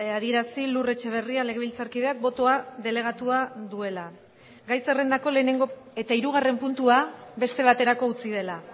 adier asi lur etxeberria legebiltzarkideak botoa delegatua duela gai zerrendako lehenengo eta irugarren puntua beste baterako utzi dela